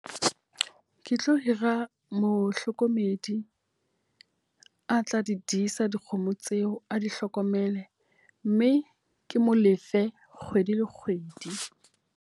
Ke tlo hira mohlokomedi a tla di disa dikgomo tseo, a di hlokomele. Mme ke mo lefe kgwedi le kgwedi.